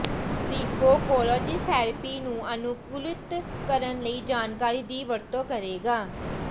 ਰਿਫੈਕੋਲੋਜਿਸਟ therapy ਨੂੰ ਅਨੁਕੂਲਿਤ ਕਰਨ ਲਈ ਜਾਣਕਾਰੀ ਦੀ ਵਰਤੋਂ ਕਰੇਗਾ